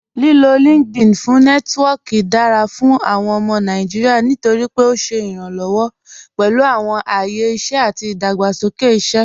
Lílò LinkedIn fún Nẹtiwọọki dára fún awọn ọmọ Nàìjíríà nítorí pé ó ṣé iranlọwọ pẹ̀lú awọn ayé iṣẹ àti ìdágbàsókè iṣẹ.